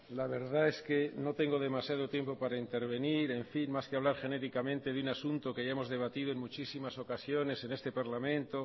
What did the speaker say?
la verdad es que no tengo demasiado tiempo para intervenir en fin más que hablar genéricamente de un asunto que ya hemos debatido en muchísima ocasiones en este parlamento